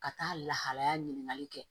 Ka taa lahalaya ɲininkali kɛ